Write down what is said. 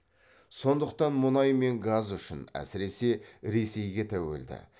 сондықтан мұнай мен газ үшін әсіресе ресейге тәуелді